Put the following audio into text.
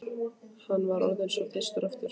Hann var orðinn svo þyrstur aftur.